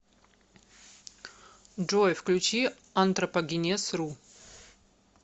джой включи антропогенез ру